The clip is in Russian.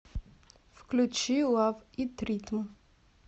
включи лав ит ритм